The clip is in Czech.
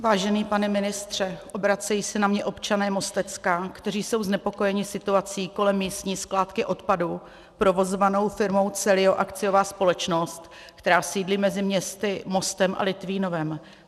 Vážený pane ministře, obracejí se na mě občané Mostecka, kteří jsou znepokojeni situací kolem místní skládky odpadu provozované firmou CELIO, akciová společnost, která sídlí mezi městy Mostem a Litvínovem.